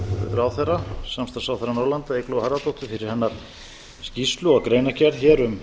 ráðherra samstarfsráðherra norðurlanda eygló harðardóttur fyrir hennar skýrslu og greinargerð hér um